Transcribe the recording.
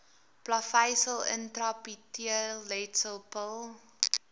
plaveisel intraepiteelletsel pil